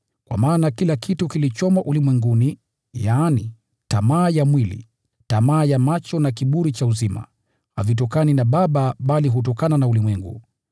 Kwa maana kila kitu kilichomo ulimwenguni, yaani tamaa ya mwili, tamaa ya macho na kiburi cha uzima, havitokani na Baba bali hutokana na ulimwengu.